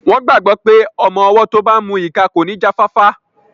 Wọ́n gbàgbọ́ pé ọmọ-ọwọ́ tó bá n mu ìka kò ní jáfáfá